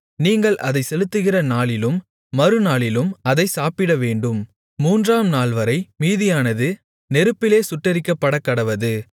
நீங்கள் அதைச் செலுத்துகிற நாளிலும் மறுநாளிலும் அதைச் சாப்பிடவேண்டும் மூன்றாம் நாள்வரை மீதியானது நெருப்பிலே சுட்டெரிக்கப்படக்கடவது